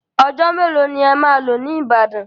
Ọjọ́ mélòó ni ẹ máa lò ní Ìbàdàn?